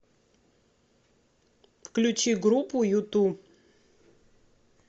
включи группу юту